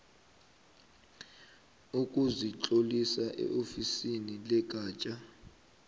sokuzitlolisa eofisini legatja